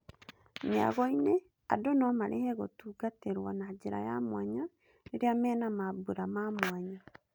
Mĩagoinĩ, andũ nomarĩhĩre gũtungatĩrwo na njĩra ya mwanya rĩrĩa mena mambũra ma mwanya.